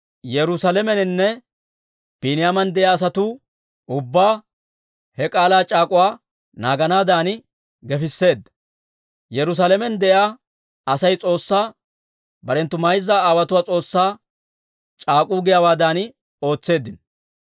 Yerusaalameninne Biiniyaaman de'iyaa asaa ubbaa he k'aalaa c'aak'uwaa naaganaadan gefisseedda; Yerusaalamen de'iyaa Asay S'oossaa, barenttu mayza aawotuwaa S'oossaa c'aak'uu giyaawaadan ootseeddino.